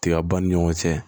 Tiga ba ni ɲɔgɔn cɛ